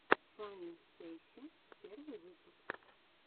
фанни стейси первый выпуск